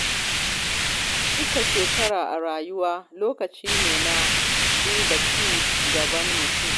Cika shekara a rayuwa lokaci ne na duba ci gaban mutum.